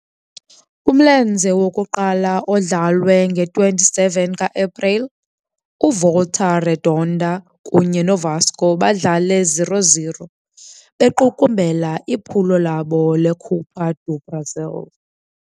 Kumlenze wokuqala, odlalwe nge-27 ka-Epreli, uVolta Redonda kunye noVasco badlala ngo-0-0, bequkumbela iphulo labo leCopa do Brasil.